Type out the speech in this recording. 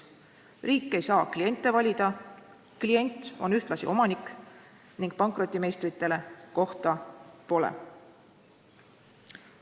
Riik ei saa "kliente" valida, "klient" on ühtlasi "omanik" ning pankrotimeistritele seal kohta pole.